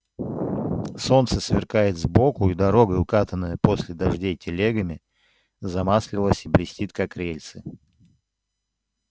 солнце сверкает сбоку и дорога укатанная после дождей телегами замаслилась и блестит как рельсы